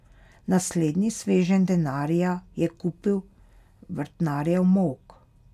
Naslednji sveženj denarja je kupil vrtnarjev molk.